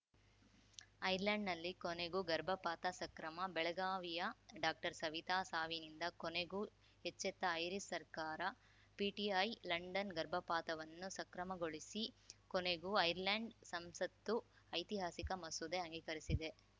ಐರ್ಲೆಂಡ್‌ನಲ್ಲಿ ಕೊನೆಗೂ ಗರ್ಭಪಾತ ಸಕ್ರಮ ಬೆಳಗಾವಿಯ ಡಾಕ್ಟರ್ ಸವಿತಾ ಸಾವಿನಿಂದ ಕೊನೆಗೂ ಎಚ್ಚೆತ್ತ ಐರಿಷ್‌ ಸರ್ಕಾರ ಪಿಟಿಐ ಲಂಡನ್‌ ಗರ್ಭಪಾತವನ್ನು ಸಕ್ರಮಗೊಳಿಸಿ ಕೊನೆಗೂ ಐರ್ಲೆಂಡ್‌ ಸಂಸತ್ತು ಐತಿಹಾಸಿಕ ಮಸೂದೆ ಅಂಗೀಕರಿಸಿದೆ